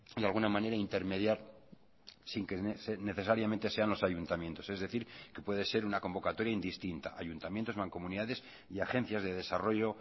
de alguna manera intermediar sin que necesariamente sean los ayuntamientos es decir que puede ser una convocatoria indistinta ayuntamientos mancomunidades y agencias de desarrollo